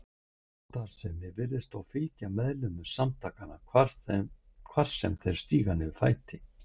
Brotastarfsemi virðist þó fylgja meðlimum samtakanna hvar sem þeir stíga niður fæti.